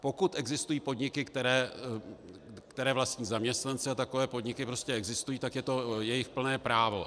Pokud existují podniky, které vlastní zaměstnanci, a takové podniky existují, tak je to jejich plné právo.